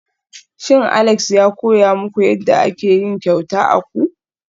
Shin Alex ya koya muku yadda ake yin kyauta akwu?